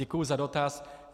Děkuji za dotaz.